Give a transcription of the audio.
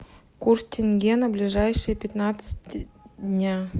курс тенге на ближайшие пятнадцать дня